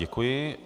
Děkuji.